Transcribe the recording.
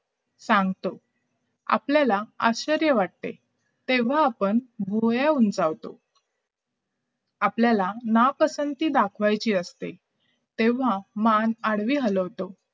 सांगतो आपल्याला आश्चर्य वाटतंय तेव्हा आपण भुवया उंचावतो आपण आपल्याला जेव्हा ना पसंती दाखवायचे असते तेव्हा मान आडवी हलवतो